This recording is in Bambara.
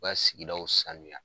U ka sigidaw sanuya